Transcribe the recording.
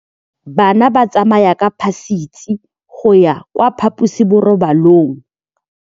Bana ba tsamaya ka phašitshe go ya kwa phaposiborobalong.